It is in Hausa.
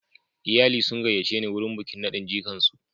Iyali sun gayyace ni wurin bikin nadin jikan su.